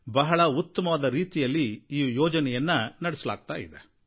ಬಹಳ ಉತ್ತಮವಾದ ರೀತಿಯಲ್ಲಿ ಈ ಯೋಜನೆಯನ್ನು ನಡೆಸಲಾಗ್ತಾ ಇದೆ